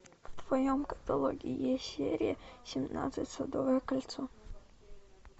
в твоем каталоге есть серия семнадцать садовое кольцо